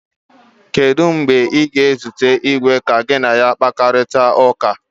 Kedu mgbe ị ga-ezute eze ka gị na ya kparịta ụka